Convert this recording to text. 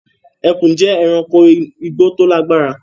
Ẹ̀kùn jẹ́ èránkò igbó tó lágbára